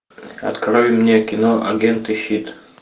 открой мне кино агент и щит